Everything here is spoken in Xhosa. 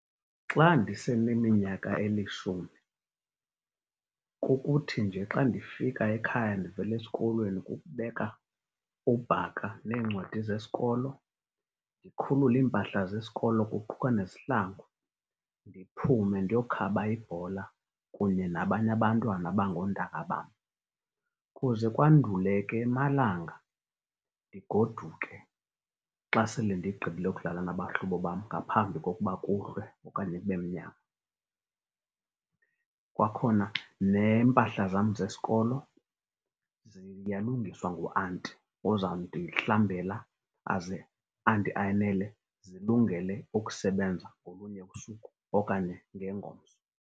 Xa ndiseneminyaka elishumi kukuthi nje xa ndifika ekhaya ndivela esikolweni kukubeka ubhaka neencwadi zesikolo, ndikhulule iimpahla zesikolo kuquka nezihlangu, ndiphume ndiyokhaba ibhola kunye nabanye abantwana abangoontanga bam. Kuze kwandule ke emalanga ndigoduke xa sele ndigqibile ukudlala nabahlobo bam ngaphambi kokuba kuhlwe okanye kube mnyama. Kwakhona neempahla zam zesikolo ziyalungiswa nguanti ozawundihlambela aze andiayinele zilungele ukusebenza ngolunye usuku okanye ngengomso.